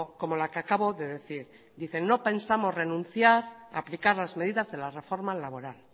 como la que acabo de decir dicen no pensamos renunciar aplicar las medidas de la reforma laboral